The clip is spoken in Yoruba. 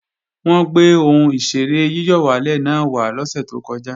Wọ́n gbé ohùn ìṣeré yíyọ̀wálè náà wá lọ́sè tó kọjá